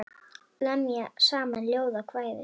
Lemja saman ljóð og kvæði.